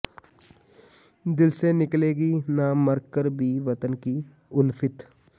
ਦਿਲ ਸੇ ਨਿਕਲੇਗੀ ਨਾ ਮਰ ਕਰ ਭੀ ਵਤਨ ਕੀ ਉਲਫਤ